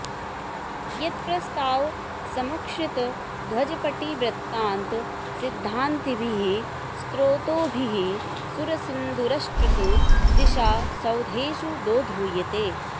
यत्प्रस्ताव समुच्छ्रित ध्वज पटी वृत्तान्त सिद्धान्तिभिः स्रोतोभिः सुरसिन्धुरष्टसु दिशा सौधेषु दोधूयते